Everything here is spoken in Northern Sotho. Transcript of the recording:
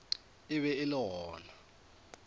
e be e le gona